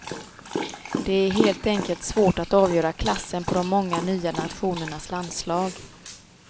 Det är helt enkelt svårt att avgöra klassen på de många nya nationernas landslag.